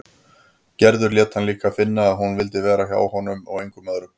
Gerður lét hann líka finna að hún vildi vera hjá honum og engum öðrum.